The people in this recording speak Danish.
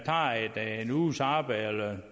tager arbejde